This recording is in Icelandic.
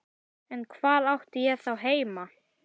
En hvar átti ég þá heima?